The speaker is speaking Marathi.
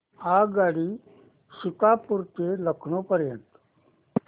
आगगाडी सीतापुर ते लखनौ पर्यंत